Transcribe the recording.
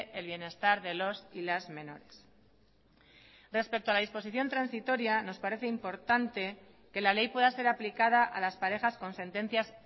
el bienestar de los y las menores respecto a la disposición transitoria nos parece importante que la ley pueda ser aplicada a las parejas con sentencias